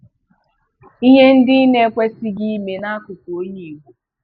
Ìhè ndị ị na-ekwesịghị ime n'akụkụ onye Ìgbò